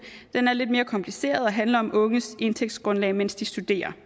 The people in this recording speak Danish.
er lidt mere kompliceret og handler om unges indtægtsgrundlag mens de studerer